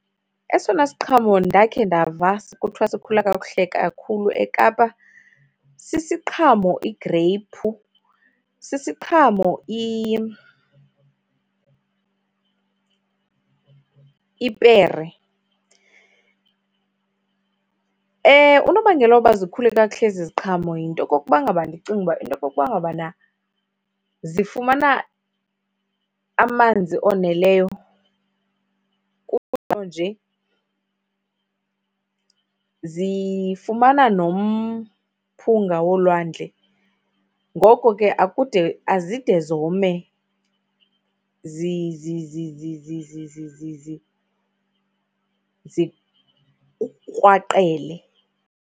Esona siqhamo ndakhe ndava kuthiwa sikhula kakuhle kakhulu eKapa sisiqhamo igreyiphu, sisiqhamo ipere. Unobangela woba zikhule kakuhle ezi ziqhamo yinto yokokuba ngaba, ndicinga uba yinto yokokuba ngabana zifumana amanzi oneleyo nje, zifumana nomphunga wolwandle. Ngoko ke akude azide zome zikrwaqele.